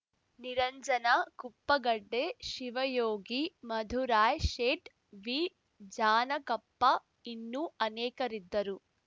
ನಿರಂಜನ ಕುಪ್ಪಗಡ್ಡೆ ಶಿವಯೋಗಿ ಮಧುರಾಯ್‌ ಶೇಟ್‌ ವಿಜಾನಕಪ್ಪ ಇನ್ನೂ ಅನೇಕರಿದ್ದರು